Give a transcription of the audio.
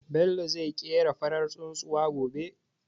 Bello zai ƙera farar tsuntsuwa gobe.